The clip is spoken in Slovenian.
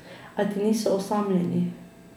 A ti niso osamljeni.